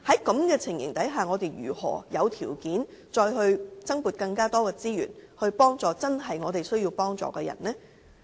在這情況下，我們怎會有條件再增撥資源幫助真正需要幫助的人呢？